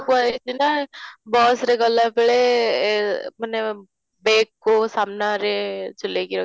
କୁହ ହେଇଛି ନା bus ରେ ଗଲାବେଳେ ଏ ମାନେ bag କୁ ସାମ୍ନାରେ ଝୁଲେଇ କି ରଖିବା